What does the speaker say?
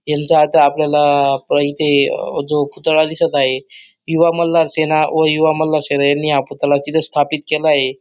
यांचा अर्थ आपल्याला प इथे जो पुतळा दिसत आहे युवा मल्हार सेना व युवा मल्हार सेना यांनी हा पुतळा तिथ स्थापित केलाय.